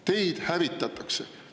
Teid hävitatakse!